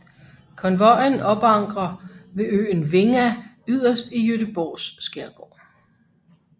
Konvojen opankrer ved øen Vinga yderst i Gøteborgs skærgård